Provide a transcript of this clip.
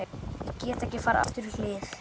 Ég get ekki farið aftur í hlið